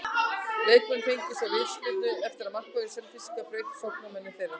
Leiknismenn fengu svo vítaspyrnu eftir að markvörður Selfyssinga braut á sóknarmanni þeirra.